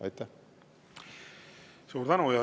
Suur tänu!